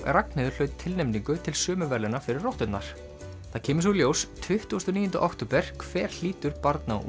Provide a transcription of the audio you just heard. Ragnheiður hlaut tilnefningu til sömu verðlauna fyrir rotturnar það kemur svo í ljós tuttugasta og níunda október hver hlýtur barna og